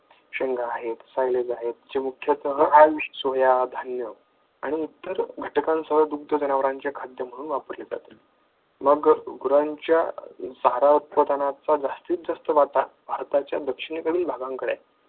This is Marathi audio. शेंगा आहेत जे मुख्यतः आणि इतर घटकांसह दुग्ध जनावरांचे खाद्य म्हणून वापरले जाते. मग गुरांच्या जात उत्पादनाचा जास्तीत जास्त वाटा भारताच्या दक्षिणेकडील भागांकडे आहे.